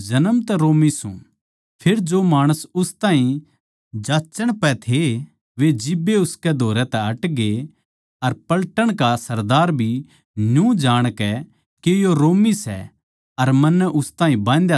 फेर जो माणस उस ताहीं जांच्चण पै थे वे जिब्बे उसकै धोरै तै हटगे अर पलटन का सरदार भी न्यू जाणकै के यो रोमी सै अर मन्नै उस ताहीं बाँधया सै डरग्या